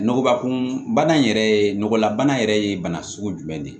Nɔgɔba kun bana in yɛrɛ ye nɔgɔlabana yɛrɛ ye bana sugu jumɛn de ye